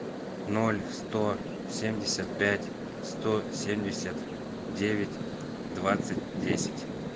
ноль сто семьдесят пять сто семьдесят девять двадцать десять